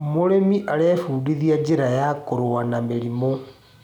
Mũrĩmi arebundithia njĩra ya kũrũa na mĩrimũ.